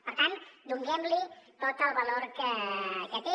per tant donem li tot el valor que té